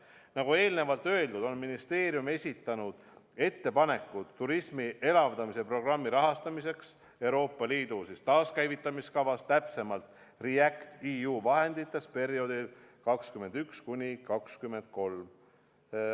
Nagu eelnevalt öeldud, on ministeerium esitanud ettepanekud turismi elavdamise programmi rahastamiseks Euroopa Liidu taaskäivitamiskavast, täpsemalt REACT-EU vahenditest perioodil 2021–2023.